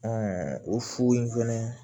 o fu in fɛnɛ